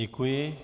Děkuji.